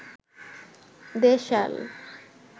দেশাল